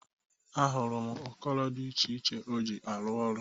Ahụrụ m ụkọro dị ich iche o ji arụ ọrụ.